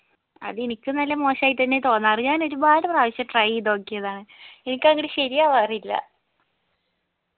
അതിനിക്ക് നല്ല മോശായിട്ടന്നെ തോന്നാറ് ഞാൻ ഒരുപാട് പ്രാവശ്യം try ചെയ്ത് നോക്കിയതാണ് എനിക്കങ്ങിട് ശരിയാവാറില്ല